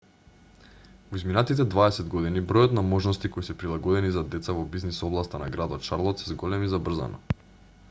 во изминатите 20 години бројот на можности кои се прилагодени за деца во бизнис областа на градот шарлот се зголеми забрзано